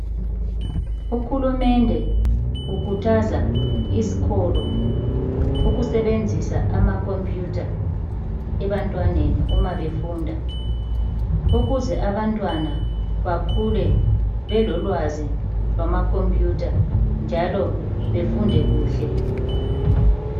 Uhulumende ukhuthaza izikolo ukusebenzisa amakhompuyitha ebantwaneni uma befunda ukuze abantwana bakhule belolwazi lwamakhompuyutha njalo befunde kuhle.